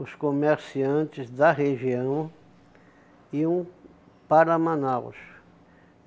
os comerciantes da região iam para Manaus.